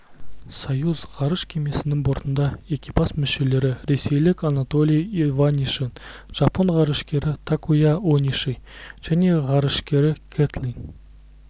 союз ғарыш кемесінің бортында экипаж мүшелері ресейлік анатолий иванишин жапон ғарышкері такуя ониши және ғарышкері кэтлин